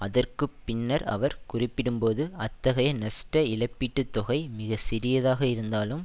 அதற்கு பின்னர் அவர் குறிப்பிடும் போது அத்தகைய நஸ்ட இழப்பீட்டு தொகை மிக சிறியதாக இருந்தாலும்